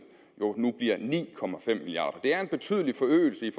jo nu bliver ni milliard det er en betydelig forøgelse i